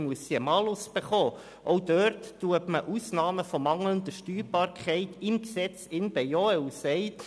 Auch dort werden Ausnahmen von mangelnder Steuerbarkeit im Gesetz bejaht: